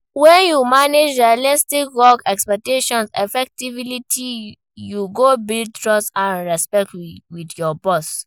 When you manage unrealistic work expectations effectively, you go build trust and respect with your boss.